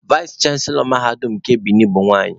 Vais chanselọ mahadum nke Bini bụ nwanyị.